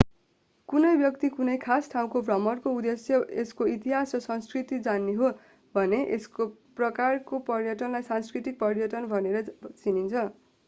कुनै व्यक्ति कुनै खास ठाउँको भ्रमणको उद्देश्य यसको इतिहास र संस्कृति जान्ने हो भने यस प्रकारको पर्यटनलाई सांस्कृतिक पर्यटन भनेर चिनिन्छ